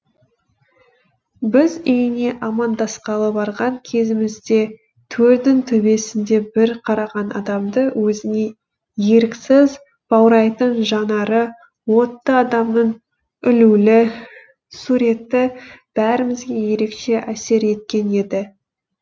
біз үйіне амандасқалы барған кезімізде төрдің төбесінде бір қараған адамды өзіне еріксіз баурайтын жанары отты адамның ілулі суреті бәрімізге ерекше әсер еткен еді